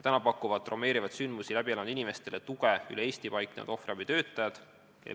Praegu pakuvad traumeeriva sündmuse läbi elanud inimestele tuge üle Eesti tegutsevad ohvriabitöötajad.